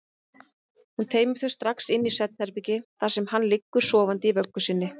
Hún teymir þau strax inn í svefnherbergi þar sem hann liggur sofandi í vöggu sinni.